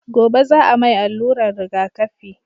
gobe za a mai alluran rigaƙafi